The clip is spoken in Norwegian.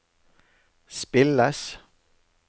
spilles